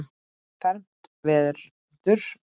fermt verður.